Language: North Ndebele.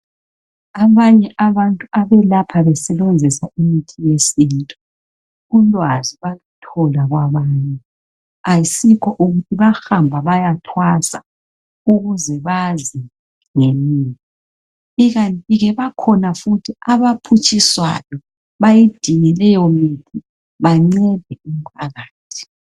Abanye abantu abelapha besebenzisa imithi yesintu ulwazi bathola kwabanye. Ayisikho kuthi bahamba bayathwasa ukuze bazi ngemithi ikanti ke bakhona futhi abaphutshiswayo bayidinge leyo mithi bancede umphakathi.